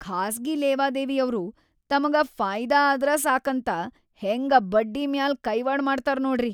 ಖಾಸ್ಗಿ ಲೇವಾದೇವಿಯವ್ರು ತಮಗ ಫಾಯಿದಾ ಆದ್ರ ಸಾಕಂತ ಹೆಂಗ ಬಡ್ಡಿಮ್ಯಾಲ್ ಕೈವಾಡ್ ಮಾಡ್ತಾರ್ ನೋಡ್ರಿ.